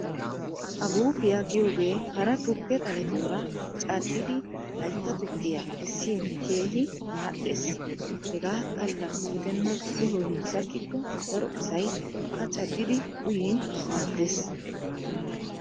Aguppiya giyogee hara tukke xaletuura caddidi hayitta tukkiya essin keehi madhdhes. Hegaa xalla gidenna uloy sakkikko daro asay a caddidi uyin maaddes.